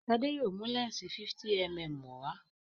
Shade yóò mú lẹnsi 50mm wá.